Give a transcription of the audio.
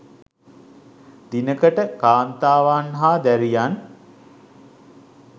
දිනකට කාන්තාවන් හා දැරියන්